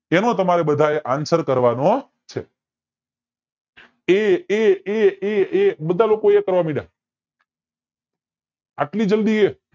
તેનો તમારે બધાએ answer કરવાનો છે એ એ એ એ એ બધા લોકો એ કરવા મંડયા આટલી જલ્દી એ